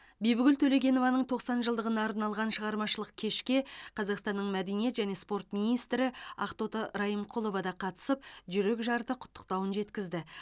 бибігүл төлегенованың тоқсан жылдығына арналған шығармашылық кешке қазақстанның мәдениет және спорт министрі ақтоты райымқұлова да қатысып жүрекжарды құттықтауын жеткізді